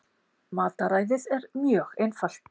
Mataræðið er mjög einfalt